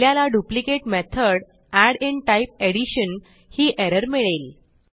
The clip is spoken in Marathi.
आपल्याला duplicate method add in type addition ही एरर मिळेल